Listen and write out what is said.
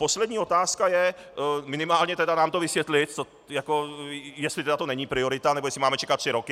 Poslední otázka je, minimálně tedy nám to vysvětlit, jestli to jako není priorita, nebo jestli máme čekat tři roky.